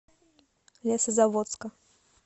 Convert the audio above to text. лесозаводска